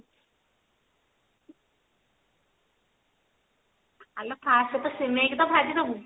ଆଲୋ first ତ ସିମେଈ କୁ ଭାଜିଦେବୁ